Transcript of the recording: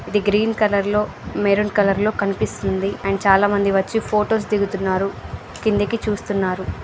ఇది green colour లో maroon colour లో కనిపిస్తుంది. అండ్ చాలామంది వచ్చి ఫొటో స్ దిగుతున్నారు. కిందికి చూస్తున్నారు.